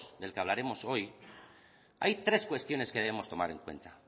del que hablaremos hoy hay tres cuestiones que debemos tomar en cuenta